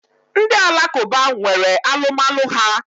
Ndi alakụba nwere alụmalụ ha.